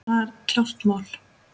Það er klárt mál.